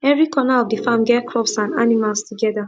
every corner of the farm get crops and animals together